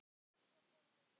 Svo fóru þeir heim.